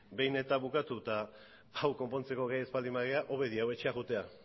behin eta bukatu eta hau konpontzeko gai ez baldin bagara hobe diagu etxe joatea